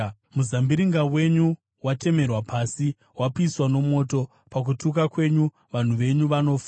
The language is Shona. Muzambiringa wenyu watemerwa pasi, wapiswa nomoto; pakutuka kwenyu, vanhu venyu vanofa.